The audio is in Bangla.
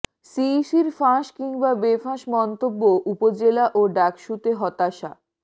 সিইসির ফাঁস কিংবা বেফাঁস মন্তব্য উপজেলা ও ডাকসুতে হতাশা